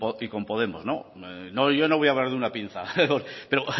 y con podemos no yo no voy a hablar de una pinza pero